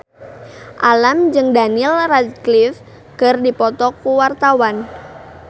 Alam jeung Daniel Radcliffe keur dipoto ku wartawan